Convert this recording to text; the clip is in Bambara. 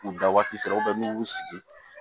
K'u bila waati dɔ la n'u y'u sigi